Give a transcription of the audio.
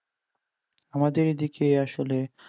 আমাদের এদিকে আসলে